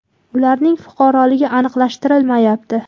Ularning fuqaroligi aniqlashtirilmayapti.